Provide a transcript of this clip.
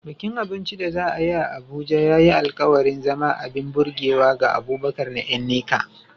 Bikin abinci da za a yi a Abuja ya yi alkawarin zama abin burgewa ga Abubakar da Nneka.